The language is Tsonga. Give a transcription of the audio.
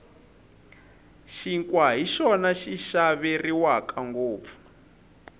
xinkwa hi xona xi xaveriwaka ngopfu